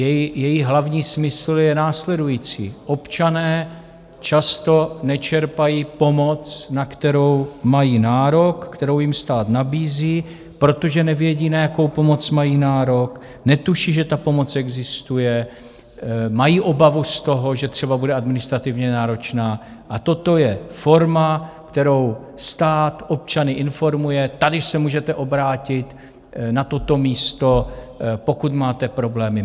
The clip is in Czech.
Její hlavní smysl je následující: občané často nečerpají pomoc, na kterou mají nárok, kterou jim stát nabízí, protože nevědí, na jakou pomoc mají nárok, netuší, že ta pomoc existuje, mají obavu z toho, že třeba bude administrativně náročná, a toto je forma, kterou stát občany informuje, tady se můžete obrátit na toto místo, pokud máte problémy.